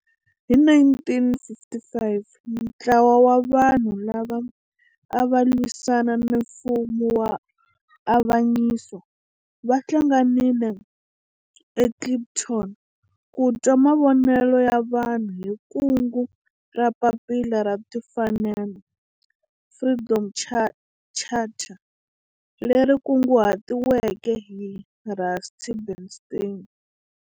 Hi 1955 ntlawa wa vanhu lava ava lwisana na mfumo wa avanyiso va hlanganile eKliptown ku twa mavonelo ya vanhu hi kungu ra Papila ra Tinfanel, Freedom Charter, leri kunguhatiweke hi Rusty Bernstein.